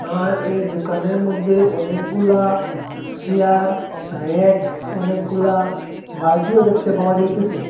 আর এই দুকানের মদ্যে অনেকগুলা চিয়ার র্যাক অনেকগুলা বালটিও দেখতে পাওয়া যাইতেসে।